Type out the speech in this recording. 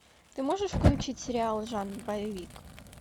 ты можешь включить сериал жанр боевик